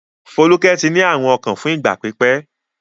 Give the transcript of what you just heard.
Folúkẹ́ ti ní àrùn ọkàn fún ìgbà pípẹ́.